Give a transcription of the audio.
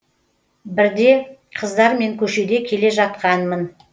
бірде қыздармен көшеде келе жатқанмын